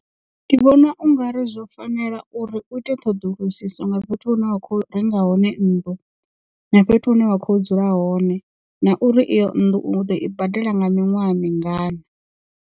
Ndi vhona ungari zwo fanela uri u ite ṱhoḓulusiso nga fhethu hu ne wa khou renga hone nnḓu na fhethu hune wa kho dzula hone na uri iyo nnḓu u ḓo i badela nga miṅwaha mingana.